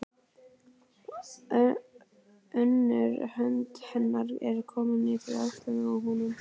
Önnur hönd hennar er komin yfir öxlina á honum.